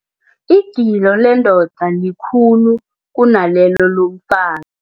Igilo lendoda likhulu kunalelo lomfa